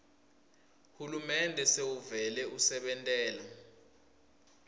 hulumende sewuvele usebentela